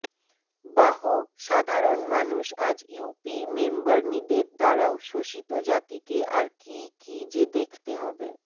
বাহ সাধারন মানুষ আজ ইউপি মেম্বারনীদের দ্বারাও শোষিত জাতিকে আর কি কি যে দেখতে হবে